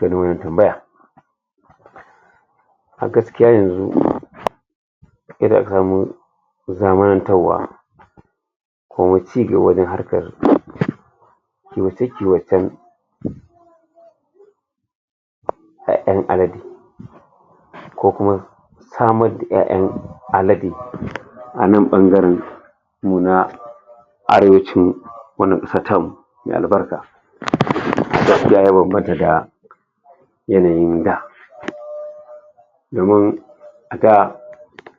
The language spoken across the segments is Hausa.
tambaya a gaskiya yenzu koma cigaba da harkan kiwoce kiwocen iyaiyan alade ko kuma samar da iyaiyan alade a nan bangaren nuna arewacin wannan me albarka da yanayin da domin a ga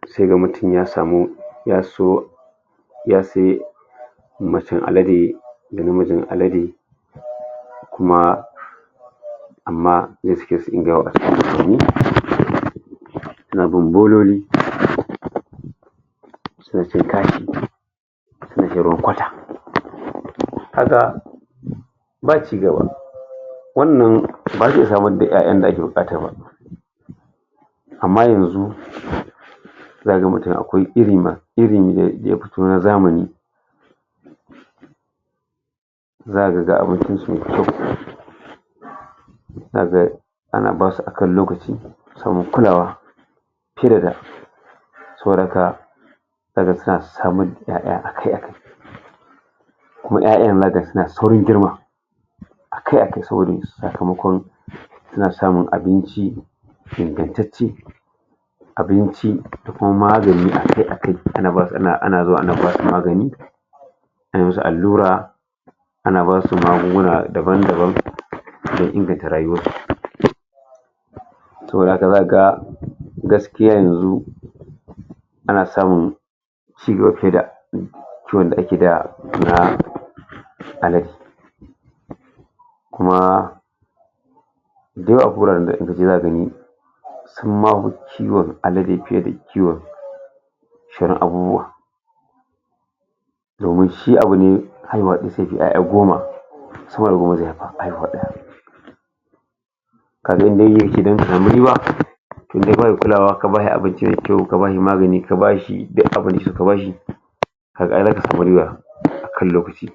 sai ga mutum ya samu ya so ya se macen alade da na mijin alade kuma amma bololi suna cin kashi haka ba cigaba wannan baya samar da iyaiyan da ake bukata ba amma yenzu za ga mutum ma akwai iri ma, iri daya fito na zamani daga ana basu akan lokaci kulawa kira da sauran kaya daga suna samar da iyaiya akai akai kuma iyaiyan zaka ga suna saurin girma akai akai saboda sakamakon suna samun abinci iganttace abinci da kuma magani akai akai, ana basu, ana zuwa ana basu magani allura ana basu magunguna daban daban da inganta rayuwar su Saboda haka zaka ga gaskiya yenzu, ana samun cigaba fiye da ciwon da ake da, na alade. Kuma duk in ka je za gani sun mawa kiwon alade fiye da kiwon domin shi abu ne haihuwa da goma saboda haihuw daya tunda barin kulawa ka bashi abinci me kyau, ka bashi magani, ka bashi duk abinci ka bashi zaka samu riba akan lokaci.